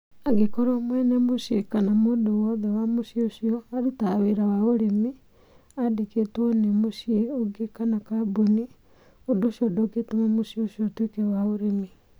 Angĩkorwo mwene mũciĩ kana mũndũ o wothe wa mũciĩ ũcio arutaga wĩra wa ũrĩmi aandĩkĩtwo wĩra nĩ mũciĩ ũngĩ kana kambuni, ũndũ ũcio ndũngĩtũma mũciĩ ũcio ũtuĩke wa ũrĩmi.